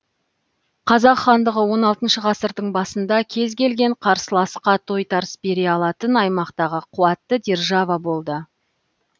қазақ хандығы он алтыншы ғасырдың басында кез келген қарсыласқа тойтарыс бере алатын аймақтағы қуатты держава болды